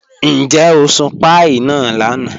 Níjẹ̀ o sùn pàíí náà lànà?